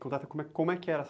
Conta como é que era a